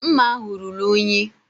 Mma ahụ ruru unyi.